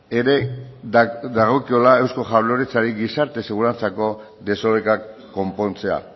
ere dagokiola eusko jaurlaritzari gizarte segurantzako desorekak konpontzea